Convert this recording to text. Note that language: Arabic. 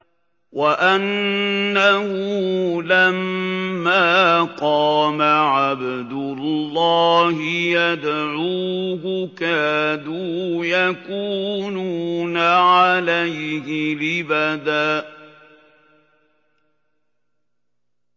وَأَنَّهُ لَمَّا قَامَ عَبْدُ اللَّهِ يَدْعُوهُ كَادُوا يَكُونُونَ عَلَيْهِ لِبَدًا